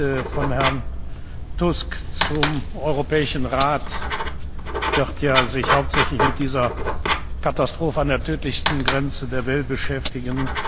Der Bericht von Herrn Tusk zum Europäischen Rat wird sich ja hauptsächlich mit dieser Katastrophe an der tödlichsten Grenze der Welt beschäftigen.